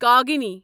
کاغنی